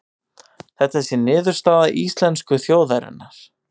Þetta sé niðurstaða íslensku þjóðarinnar